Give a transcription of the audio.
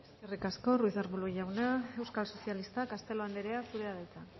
eskerrik asko ruiz de arbulo jauna euskal sozialistak castelo anderea zurea da hitza